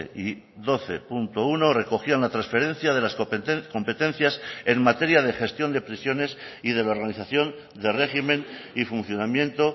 y doce punto uno recogían la transferencia de las competencias en materia de gestión de prisiones y de la organización de régimen y funcionamiento